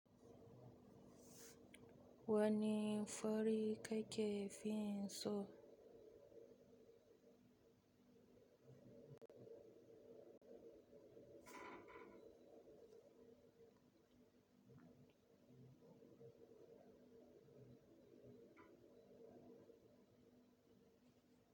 Wani fari ka ke fin so?